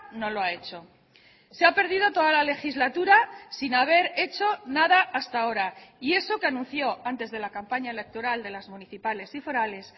no lo ha hecho se ha perdido toda la legislatura sin haber hecho nada hasta ahora y eso que anunció antes de la campaña electoral de las municipales y forales